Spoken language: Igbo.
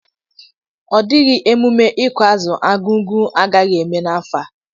Ọ dịghị emumme ịkụ azụ Argungu agaghị eme n'afọ a.